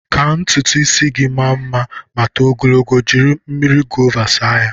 Ka ntutu ịsị gị maa mma ma too ogologo, jiri mmiri gova saa ya.